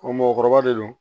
mɔgɔkɔrɔba de don